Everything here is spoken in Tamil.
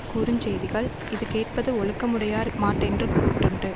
கூறு செய்திகள் இது கேட்பது ஒழுக்கமுடையார்மாட்டென்று கூட்டுண்டு